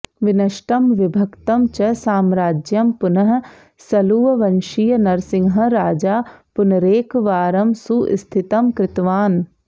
विनष्टम् विभक्तं च साम्राज्यम् पुनः सळुववंशीयः नरसिंहः राजा पुनरेकवारम् सुस्थितम् कृतवान्